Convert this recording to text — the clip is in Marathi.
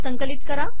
संकलित करा